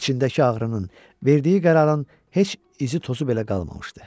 İçindəki ağrının, verdiyi qərarın heç izi tozu belə qalmamışdı.